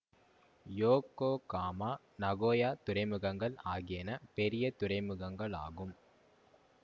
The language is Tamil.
யோக்கோகாமா நகோயா துறைமுகங்கள் ஆகியன பெரிய துறைமுகங்கள் ஆகும்